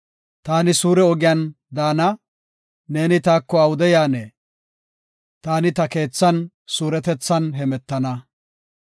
Taani suure ogiyan daana; neeni taako awude yaanee? Taani ta keethan suuretethan hemetana.